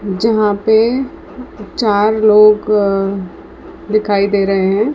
जहां पे चार लोग अ दिखाई दे रहे हैं।